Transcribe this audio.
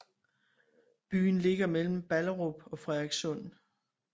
Byen ligger mellem Ballerup og Frederikssund